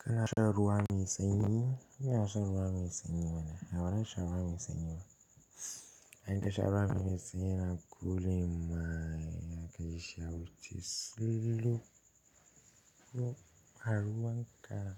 Kana shan ruwa me sanyi? ina shan ruwa me sanyi mana, ya badan sha ruwa me sanyi ba. In ka sharuwa fa me sanyi yana cooling mine zakaji shi ya wuce sululu a ruwan ka.